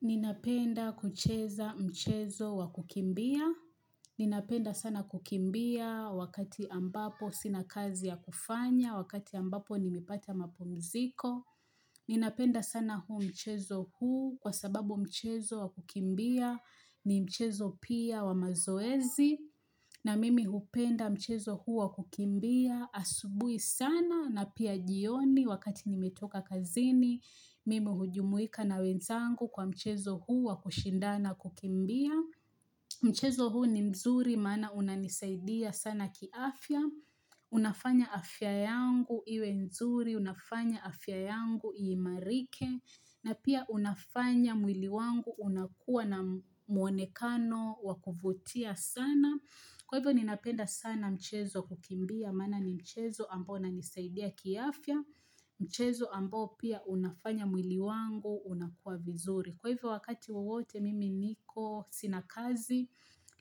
Ninapenda kucheza mchezo wa kukimbia. Ninapenda sana kukimbia wakati ambapo sina kazi ya kufanya, wakati ambapo nimepata mapumziko. Ninapenda sana huu mchezo huu kwa sababu mchezo wa kukimbia ni mchezo pia wa mazoezi. Na mimi hupenda mchezo huu wa kukimbia asubuhi sana na pia jioni wakati nimetoka kazini mimi hujumuika na wenzangu kwa mchezo huu wa kushindana kukimbia. Mchezo huu ni mzuri maana unanisaidia sana kiafya. Unafanya afya yangu iwe nzuri, unafanya afya yangu iimarike. Na pia unafanya mwili wangu unakuwa na mwonekano wa kuvutia sana. Kwa hivyo ninapenda sana mchezo kukimbia, maana ni mchezo ambao nanisaidia kiafya, mchezo ambao pia unafanya mwili wangu, unakuwa vizuri. Kwa hivyo wakati wowote mimi niko sina kazi,